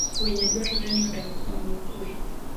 Winy dwarore ni odag kama okuwe.